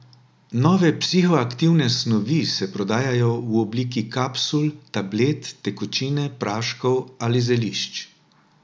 Nove psihoaktivne snovi se prodajajo v obliki kapsul, tablet, tekočine, praškov ali zelišč.